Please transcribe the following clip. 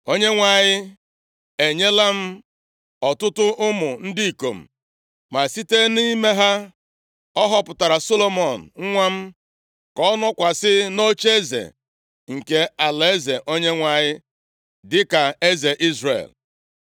Onyenwe anyị enyela m ọtụtụ ụmụ ndị ikom, ma site nʼime ha ọ họpụtara Solomọn nwa m ka ọ nọkwasị nʼocheeze nke alaeze Onyenwe anyị dịka eze Izrel.